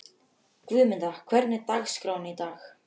Guðmunda, hvernig er dagskráin í dag?